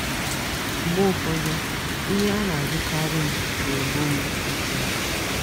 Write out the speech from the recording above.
Mgbe ụfọdụ, ihe a a na - ajụkarị m na - egbu m mmụọ.